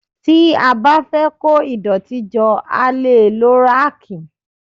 Tí a bá fẹ́ kó ìdọ̀tí jọ a lè lo ráàkì